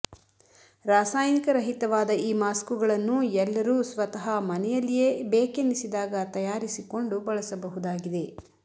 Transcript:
ರಾಸಾಯನಿಕರಹಿತವಾದ ಈ ಮಾಸ್ಕುಗಳನ್ನು ಎಲ್ಲರೂ ಸ್ವತಃ ಮನೆಯಲ್ಲಿಯೇ ಬೇಕೆನಿಸಿದಾಗ ತಯಾರಿಸಿಕೊಂಡು ಬಳಸಬಹುದಾಗಿದೆ